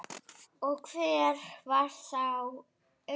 Og hver var þá Unnur?